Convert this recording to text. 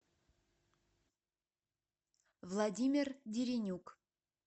владимир деренюк